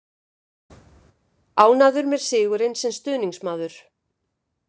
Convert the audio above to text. Ánægður með sigurinn, sem stuðningsmaður.